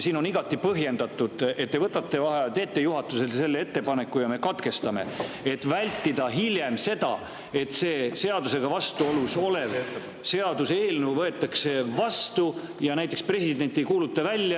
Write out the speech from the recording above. Seega on igati põhjendatud, et te võtate vaheaja, teete juhatusele selle ettepaneku ja me katkestame, et vältida seda, et see seadusega vastuolus olev seaduseelnõu võetakse vastu ja näiteks president ei kuuluta seda välja.